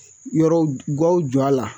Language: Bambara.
Yɔrɔ gaw a la